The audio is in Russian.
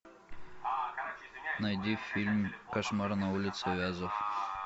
найди фильм кошмар на улице вязов